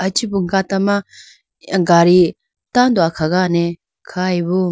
aye ichibu gata ma gadi tando akhagane khayi bo.